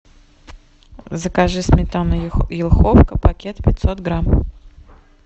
закажи сметану йоховка пакет пятьсот грамм